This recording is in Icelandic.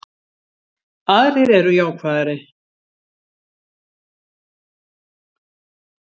Aðrir eru jákvæðari